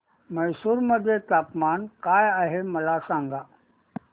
म्हैसूर मध्ये तापमान काय आहे मला सांगा